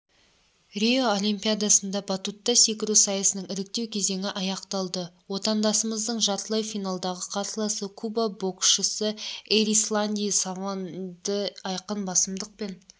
рио олимпиадасында батутта секіру сайысының іріктеу кезеңі аяқталды отандасымыздың жартылай финалдағы қарсыласы куба боксшысыэрисланди савондыайқын басымдықпен